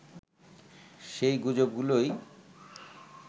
সেই গুজবগুলোই